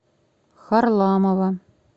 харламова